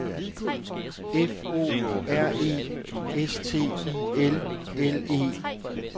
F O R E S T I L L E